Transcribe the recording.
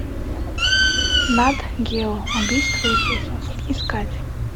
нат гео убийство иисуса искать